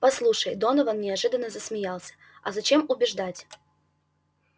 послушай донован неожиданно засмеялся а зачем убеждать